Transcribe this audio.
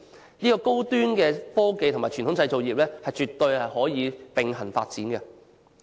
這反映高端科技和傳統製造業絕對可以並行發展。